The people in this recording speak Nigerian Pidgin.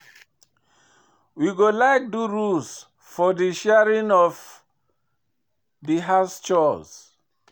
We go like do rules for di sharing of di house chores.